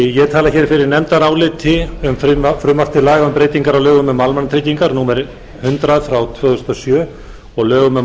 ég tala fyrir nefndaráliti um frumvarp til laga um breytingar á lögum um almannatryggingar númer hundrað tvö þúsund og sjö og lögum um